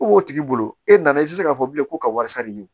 U b'o tigi bolo e nana i tɛ se k'a fɔ bilen ko ka wasa de ye